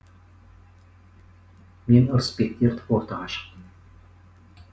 мен ырысбекті ертіп ортаға шықтым